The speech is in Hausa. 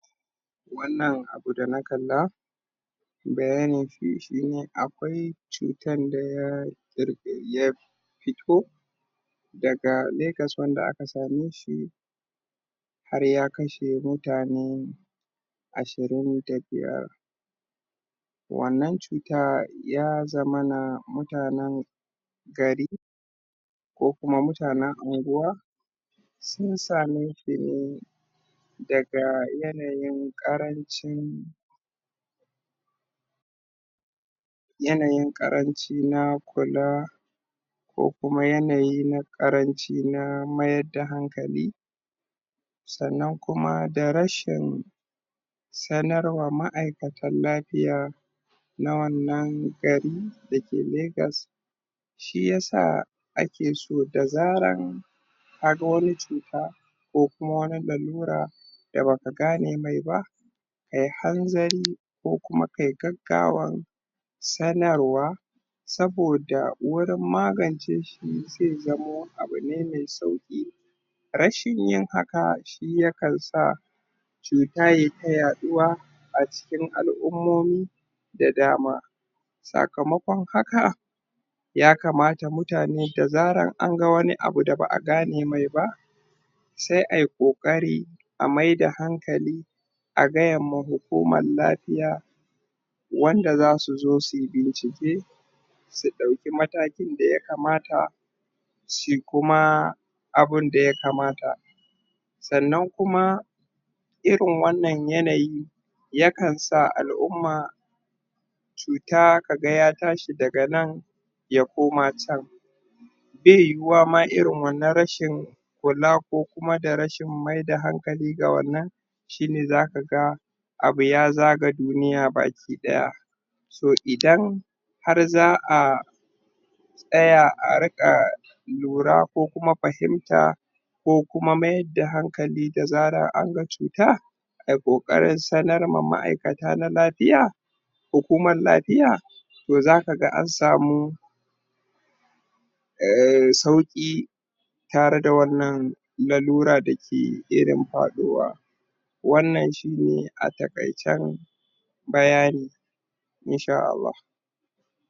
wannan abu da na kalla bayani shi ne akwai cutan da ya ƙirƙir ya fito daga Lagos wanda aka same shi har ya kashe mutane ashirin da biyar wannan cuta ya zamana mutanen gari ko kuma mutanen anguwa sun same shi ne daga yanayin ƙarancin yanayin ƙaranci na kula ko kuma yanayi na ƙaranci na mayar da hankali sannan kuma da rashin sanarwa ma'aikatan lafiya na wannan gari da ke Lagos shi yasa ake so da zaran kaga wani cuta ko kuma wani lalura da baka gane mai ba kai hanzari, ko kuma kai gaggawan sanarwa saboda wurin magance shi sai ya zamo abu ne mai sauƙi rashin yin haka shi yakan sa cuta yai ta yaɗuwa a cikin al'ummomi da dama sakamakon haka yakamata mutane da zaran anga wani abu da ba a gane mai ba sai ai ƙoƙari a maida hankali a gayanma hukuman lafiya wanda zasu zo su bincike su ɗauki matakin da yakamata su kuma abin da yakamata sannan kuma irin wannan yanayi yakan sa al'umma sui ta kaga ya tashi daga nan ya koma can bai yiwuwa ma irin wannan rashin kula ko kuma da rashin mai da hankali ga wannan shi ne zaka ga abu ya zaga duniya baki ɗaya to idan har za a tsaya a riƙa lura ko kuma fahimta ko kuma mayar da hankali da zarar an ga cuta ai ƙoƙarin sanar ma ma'aikata na lafiya hukuman lafiya to zaka ga an samu uhm sauƙi tare da wannan lalura da ke irin faɗowa wannan shi ne a taƙaicen bayani in sha Allah